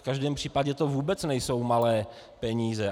V každém případě to vůbec nejsou malé peníze.